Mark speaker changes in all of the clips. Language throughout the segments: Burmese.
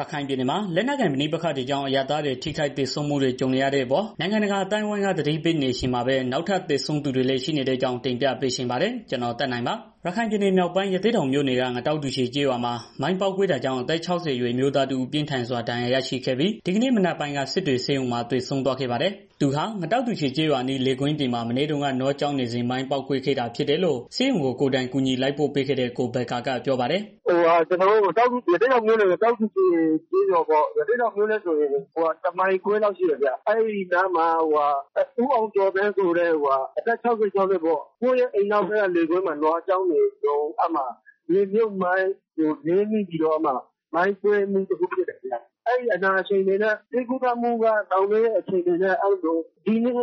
Speaker 1: ရခိုင်ပြည်နယ်မှာ လက်နက်ကိုင် ပဋိပက္ခတွေကြောင့် အရပ်သားတွေ ထိခိုက်သေဆုံးမှုတွေ ကြုံနေရတဲ့အပေါ် နိုင်ငံတကာ အသိုင်းအဝန်းက သတိပေးနေချိန်မှာပဲ နောက်ထပ် သေဆုံးသူတွေလည်း ရှိနေတဲ့အကြောင်း တင်ပြပေးချင်ပါတယ်။ ဗွီအိုအေမြန်မာပိုင်း သတင်းထောက် ကိုသက်နိုင်က တင်ပြပေးပါမယ်။ ရခိုင်ပြည်နယ်မြောက်ပိုင်း ရသေ့တောင်မြို့နယ်က ငတောက်တူချေကျေးရွာမှာ မိုင်းပေါက်ကွဲတာကြောင့် အသက် ၆၀ အရွယ် အမျိုးသားတစ်ဦး ပြင်းထန်စွာဒဏ်ရာ ရရှိခဲ့ပြီး ဒီကနေ့မနက်ပိုင်းက စစ်တွေဆေးရုံမှာ သေဆုံးသွားပါတယ်။ သူဟာ ငတောက်တူချေ ကျေးရွာအနီး လယ်ကွင်းပြင်မှာ မနေ့တုန်းက နွားကျောင်းနေစဉ် မိုင်းပေါက်ကွဲခဲ့တာ ဖြစ်တယ်လို့ ဆေးရုံကို ကိုယ်တိုင်ကူညီ လိုက်ပို့ပေးခဲ့တဲ့ ကိုဘက္ကာက ပြောပါတယ်
Speaker 2: ။ "ရသေ့တောင်မြို့နယ် ငတောက်တူချေ ကျေးရွာပေါ့။ ရသေ့တောင်မြို့နဲ့ဆိုရင် တစ်မိုင်ခွဲလောက်ဝေးတယ်ဗျာ။ အဲဒီနားမှာ ဦးအောင်ကျော်သန်းက သူ့ရဲ့ အိမ်နောက်ဘက်က လယ်ကွင်းမှာ နွားကျောင်းနေတာ မြေမြှုပ်မိုင်းကို နင်းမိပြီးတော့ ပေါက်ကွဲသွားတယ်။ အဲဒီအနာရှိန်တွေနဲ့ ဆေးကုသမှုခံယူတာ ကြာနေတာနဲ့ ဒီနေ့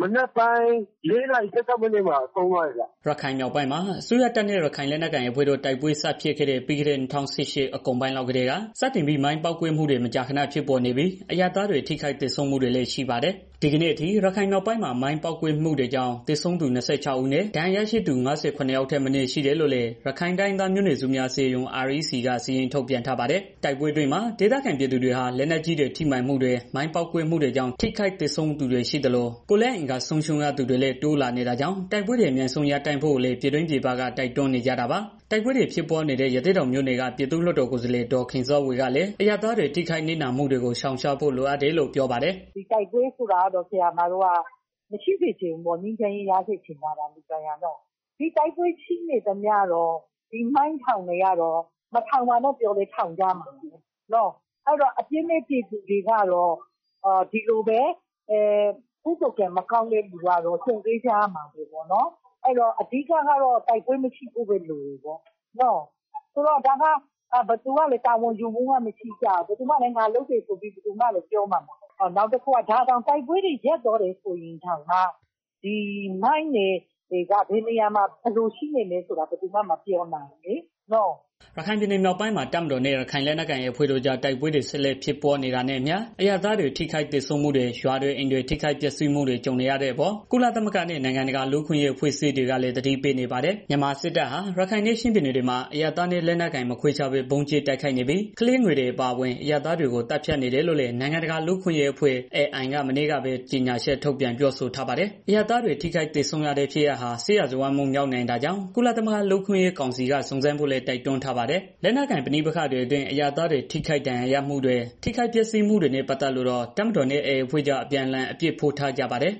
Speaker 2: မနက်ပိုင်းက စစ်တွေဆေးရုံမှာ ဆုံးသွားတယ်။
Speaker 1: " ရခိုင်ပြည်နယ်မြောက်ပိုင်းမှာ အစိုးရတပ်နဲ့ ရခိုင်လက်နက်ကိုင် AA အဖွဲ့တို့ တိုက်ပွဲစဖြစ်ခဲ့တဲ့ ပြီးခဲ့တဲ့ ၂၀၁၈ နှစ်ကုန်ပိုင်းလောက်ကတည်း စတင်ပြီး မိုင်းပေါက်ကွဲမှုတွေ မကြာခဏ ဖြစ်ပေါ်နေပြီး အရပ်သားတွေ ထိခိုက်သေဆုံးမှုတွေလည်း ရှိပါတယ်။ ဒီကနေ့အထိ ရခိုင်မြောက်ပိုင်းမှာ မိုင်းပေါက်ကွဲမှုတွေကြောင့် သေဆုံးသူ ၂၆ ဦးနဲ့ ဒဏ်ရာရရှိသူ ၅၇ ယောက်ထက်မနည်း ရှိတယ်လို့လည်း ရခိုင်တိုင်းရင်းသားမျိုးနွယ်စုများ အစည်းအရုံး REC က စာရင်းထုတ်ပြန်ထားပါတယ်။ တိုက်ပွဲအတွင်းမှာ ဒေသခံပြည်သူတွေဟာ လက်နက်ကြီးတွေ ထိမှန်မှုတွေ မိုင်းပေါက်ကွဲမှုတွေကြောင့် ထိခိုက်သေဆုံးသူတွေ ရှိသလို၊ ကိုယ်လက်အင်္ဂါဆုံးရှုံးရသူတွေလည်း တိုးလာနေတာကြောင့် တိုက်ပွဲတွေ အမြန်ဆုံး ရပ်တန့်ဖို့လည်း ပြည်တွင်းပြည်ပက တိုက်တွန်းနေကြတာပါ။ တိုက်ပွဲတွေ ဖြစ်ပွားနေတဲ့ ရသေ့တောင်မြို့နယ်က ပြည်သူ့လွှတ်တော်ကိုယ်စားလှယ် ဒေါ်ခင်စောဝေကလည်း အရပ်သားတွေ ထိခိုက်နစ်နာမှုတွေကို ရှောင်ရှားဖို့ တိုက်ခိုက်မှုတွေ ရပ်ဖို့လိုတယ်လို့ ပြောပါတယ်
Speaker 3: ။ "တိုက်ပွဲတွေ မရှိစေချင်ဘူး ငြိမ်းချမ်းရေး ရစေချင်တယ်။ တိုက်ပွဲတွေရှိနေတော့ မိုင်းထောင်တာကို မထောင်ပါနဲ့ဆိုရင်လည်း ထောင်ကြမှာပဲ။ ပြည်သူတွေကတော့ ကုသိုလ်ကံမကောင်းတဲ့ သူတွေကတော့ ကြုံတွေ့ကြရမှာပါပဲ။ အဓိကကတော့ တိုက်ပွဲမရှိဖို့ လိုတယ်။ ဒါကိုဘယ်သူမှလည်း တာဝန်မယူကြဘူး။ ဒါကိုင်လုပ်တယ်လို့ ဘယ်သူမှလည်း ပြောမှာမဟုတ်ဘူး။ တိုက်ပွဲတွေ ရပ်သွားမယ်ဆိုရင်တောင် မိုင်းတွေက ဘယ်နေရာမှာ ဘယ်လိုရှိမယ်ဆိုတာကို ဘယ်သူမှ မပြောနိုင်ဘူးလေနော်။"
Speaker 1: ရခိုင်ပြည်နယ် မြောက်ပိုင်းမှာ တပ်မတော်နဲ့ ရခိုင်လက်နက်ကိုင်အဖွဲ့ AA တို့ကြား တိုက်ပွဲတွေဆက်လက် ဖြစ်ပွားနေတာနဲ့အမျှ အရပ်သားတွေ ထိခိုက်သေဆုံးမှုတွေ ရွာတွေ၊ အိမ်တွေ ထိခိုက်ပျက်စီးမှုတွေ ကြုံနေရတဲ့အပေါ် ကုလသမဂ္ဂနဲ့ နိုင်ငံတကာ လူ့အခွင့်အရေး အဖွဲ့အစည်းတွေကလည်း သတိပေးနေပါတယ်။ မြန်မာစစ်တပ်ဟာ ရခိုင်နဲ့ ချင်းပြည်နယ်တွေမှာ အရပ်သားနဲ့ လက်နက်ကိုင် မခွဲခြားဘဲ ဗုံးကြဲတိုက်ခိုက်နေပြီး ကလေးငယ်တွေ အပါအဝင် အရပ်သားတွေကို သတ်ဖြတ်နေတယ်လို့လည်း နိုင်ငံတကာ လူ့အခွင့်အရေးအဖွဲ့ Amnesty International က မနေ့ကပဲ ကြေညာချက်ထုတ်ပြန် ပြောဆိုထားပါတယ်။ အရပ်သားတွေ ထိခိုက်သေဆုံးရတဲ့ဖြစ်ရပ်ဟာ စစ်ရာဇဝတ်မှုမြောက်နိုင်တာကြောင့် ကုလသမဂ္ဂ လုံခြုံရေးကောင်စီက စုံစမ်းဖို့လည်း တိုက်တွန်းထားပါတယ်။ လက်နက်ကိုင် ပဋိပက္ခတွေအတွင်း အရပ်သားတွေ သေဆုံးဒဏ်ရာရမှုတွေ၊ ထိခိုက်ပျက်စီးမှုတွေနဲ့ ပတ်သက်လို့တော့ တပ်မတော်နဲ့ AA အဖွဲ့တွေကြား အပြန်အလှန် အပြစ်ဖို့ထားကြပါတယ်